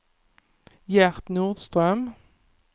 Gert Nordström